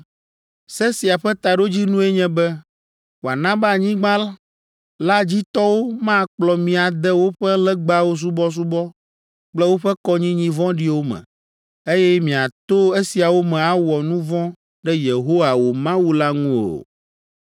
“Se sia ƒe taɖodzinue nye be wòana be anyigba la dzi tɔwo makplɔ mi ade woƒe legbawo subɔsubɔ kple woƒe kɔnyinyi vɔ̃ɖiwo me, eye miato esiawo me awɔ nu vɔ̃ ɖe Yehowa, wò Mawu la ŋu o.